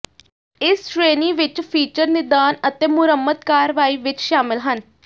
ਇਸ ਸ਼੍ਰੇਣੀ ਵਿੱਚ ਫੀਚਰ ਨਿਦਾਨ ਅਤੇ ਮੁਰੰਮਤ ਕਾਰਵਾਈ ਵਿੱਚ ਸ਼ਾਮਲ ਹਨ